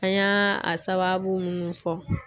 An y'a a sababu munnu fɔ